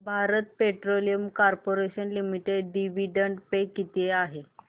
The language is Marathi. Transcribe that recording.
Bharat Petroleum Corporation Limited dividend pay किती आहे